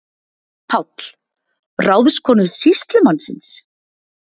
PÁLL: Ráðskonu sýslumannsins?